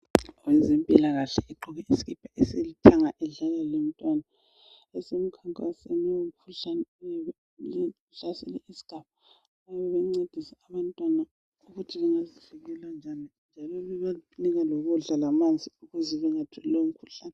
Owezempilakahle ogqoke isikipa esilithanga udlala lomntwana usemkhankasweni womkhuhlane ohlasele isigaba, lokuthi bancedise abantwana ukuthi bengazivikela njani lokubanika ukudla lamanzi ukuze bangawutholi lowo mkhuhlane.